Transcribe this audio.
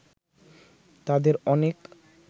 তাদের অনেক